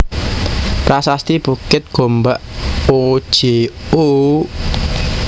Prasasti Bukit Gombak o j o